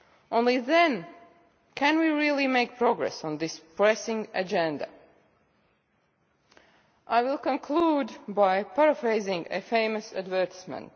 Only then can we really make progress on this pressing agenda. I will conclude by paraphrasing a famous advertisement.